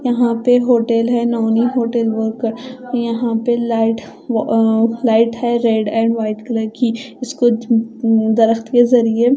यहां पे होटल है नवनी होटल बोलकर यहां पे लाइट अह लाइट है रेड एंड व्हाइट कलर की इसको उम दरख्त के जरिए--